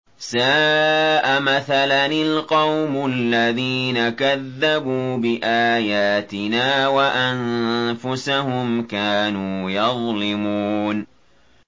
سَاءَ مَثَلًا الْقَوْمُ الَّذِينَ كَذَّبُوا بِآيَاتِنَا وَأَنفُسَهُمْ كَانُوا يَظْلِمُونَ